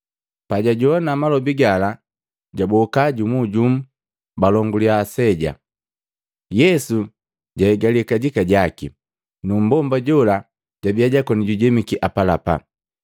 Pabajowana malobi gala, jaboka jumujumu balonguliya aseja. Yesu jahigaliya kajika jaki, nu mbomba jola jabiya jakona jujemiki apalapa.